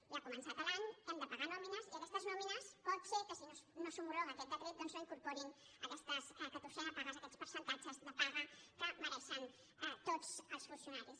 ja ha començat l’any hem de pagar nòmines i aquestes nòmines pot ser que si no s’ho·mologa aquest decret doncs no incorporin aquesta catorzena paga aquests percentatges de paga que me·reixen tots els funcionaris